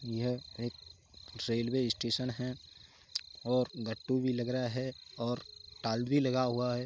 यह एक railway station है और गट्टू भी लग रहा है और टाल भी लगा हुआ है |